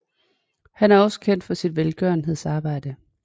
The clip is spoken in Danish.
Han er også kendt for sit velgørenhedsarbejde